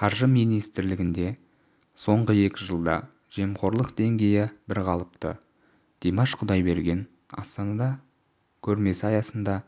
қаржы министрлігінде соңғы екі жылда жемқорлық деңгейі бір қалыпты димаш құдайберген астанада көрмесі аясында